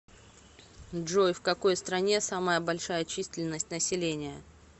джой в какой стране самая большая численность населения